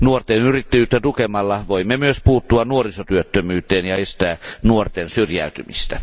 Nuorten yrittäjyyttä tukemalla voimme myös puuttua nuorisotyöttömyyteen ja estää nuorten syrjäytymistä.